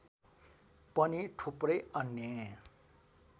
पनि थुप्रै अन्य